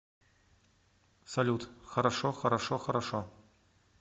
салют хорошо хорошо хорошо